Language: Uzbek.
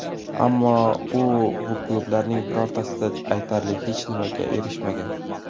Ammo u bu klublarning birortasida aytarli hech nimaga erishmagan.